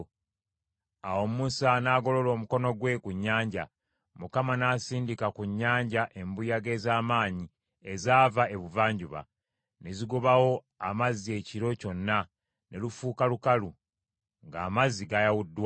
Awo Musa n’agolola omukono gwe ku nnyanja; Mukama n’asindika ku nnyanja embuyaga ez’amaanyi ezaava ebuvanjuba, ne zigobawo amazzi ekiro kyonna, ne lufuuka lukalu, ng’amazzi gayawuddwamu.